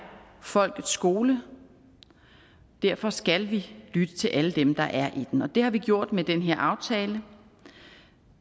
folkets skole og derfor skal vi lytte til alle dem der er i den og det har vi gjort med den her aftale